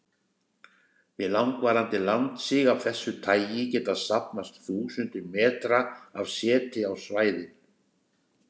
Við langvarandi landsig af þessu tagi geta safnast þúsundir metra af seti á svæðin.